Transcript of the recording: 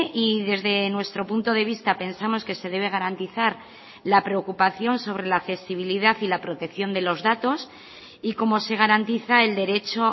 y desde nuestro punto de vista pensamos que se debe garantizar la preocupación sobre la accesibilidad y la protección de los datos y cómo se garantiza el derecho